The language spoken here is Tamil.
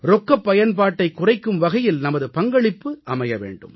ரொக்கப் பயன்பாட்டைக் குறைக்கும் வகையில் நமது பங்களிப்பு அமைய வேண்டும்